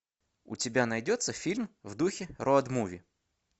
у тебя найдется фильм в духе роуд муви